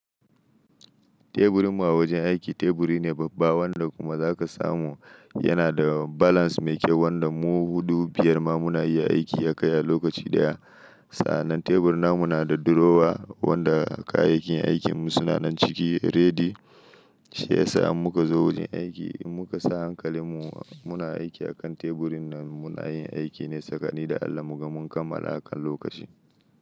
Teburinmu a wajen aiki, teburi ne babba wanda kuma zaka samu yana da balance mai kyau, wanda mu huɗu biyar ma, muna iya aiki akai a lokaci ɗaya. Sa'anan tebur na mu na da drawer, wanda kayayyakin aikinmu suna nan ciki ready. Shi yasa immuka zo wajen aiki, immuka sa hankalinmu muna aiki a kan teburin nan, muna yin aiki ne tsakani da Allah mu ga mun kammala a kan lokaci.